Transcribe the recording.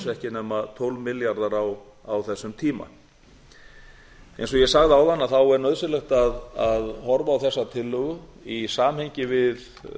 ekki nema tólf milljarðar á þessum tíma eins og ég sagði áðan er nauðsynlegt að horfa á þessa tillögu í samhengi við